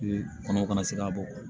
Kɔnɔw kana se ka bɔ